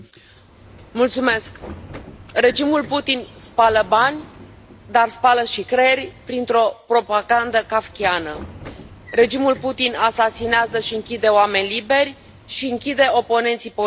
Domnule președinte, regimul Putin spală bani dar spală și creiere printr o propagandă kafkiană. Regimul Putin asasinează și închide oameni liberi și închide oponenții politici.